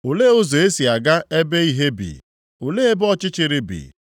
“Olee ụzọ e si aga ebe ìhè bi? Olee ebe ọchịchịrị bi?